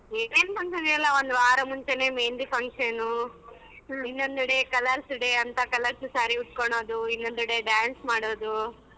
ಏನೇನ್ function ಎಲ್ಲ ಒಂದವಾರ ಮುಂಚೆನೆ मेहंदी function ಇನ್ನೊಂದ ಕಡೆ colours day ಅಂತ colours day saree ಉಟ್ಟಕೊಳ್ಳೋದು ಇನ್ನೊಂದೆಡೆ dance ಮಾಡೋದು.